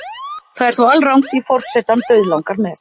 Það er þó alrangt því forsetann dauðlangar með.